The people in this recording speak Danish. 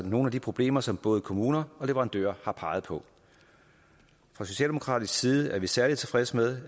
nogle af de problemer som både kommuner og leverandører har peget på fra socialdemokratisk side er vi særlig tilfredse med